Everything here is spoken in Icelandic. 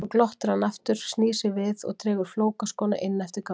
Svo glottir hann aftur, snýr sér við og dregur flókaskóna inn eftir ganginum.